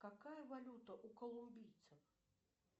какая валюта у колумбийцев